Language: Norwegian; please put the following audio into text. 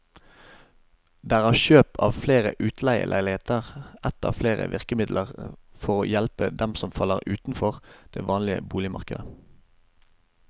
Der er kjøp av flere utleieleiligheter ett av flere virkemidler for å hjelpe dem som faller utenfor det vanlige boligmarkedet.